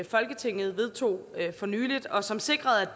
folketinget vedtog for nylig og som sikrede